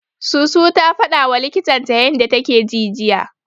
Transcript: Susu ta fadawa likitan ta yanda take ji jiya.